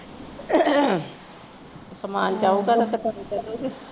ਸਮਾਨ ਚਾਹੀਦਾ